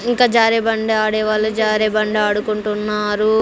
ఇంకా జారే బండి ఆడే వాళ్ళు జారే బండి ఆడుకుంటున్నారు.